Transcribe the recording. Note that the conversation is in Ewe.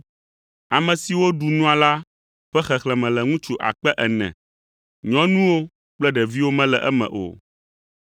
Ame siwo ɖu nua la ƒe xexlẽme le ŋutsu akpe ene (4,000), nyɔnuwo kple ɖeviwo mele eme o.